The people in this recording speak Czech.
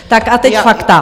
Tak a teď fakta.